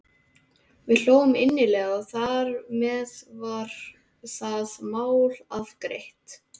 Við hlógum innilega og þar með var það mál afgreitt.